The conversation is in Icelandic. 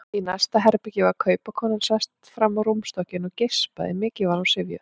Í næsta herbergi var kaupakonan sest fram á rúmstokkinn og geispaði, mikið var hún syfjuð.